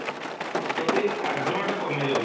ପ୍ରତି ଆଗ୍ରହ ଟା କମି ଯାଉଛି